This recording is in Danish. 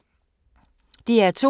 DR2